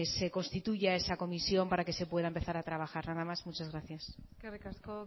se constituya esa comisión para que se pueda empezar a trabajar nada más muchas gracia eskerrik asko